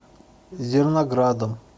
зерноградом